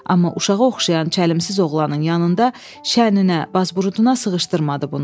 Amma uşağa oxşayan çəlimsiz oğlanın yanında şəninə, bazburutuna sığışdırmadı bunu.